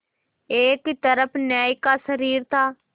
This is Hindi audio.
एक तरफ न्याय का शरीर था